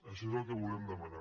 això és el que volem demanar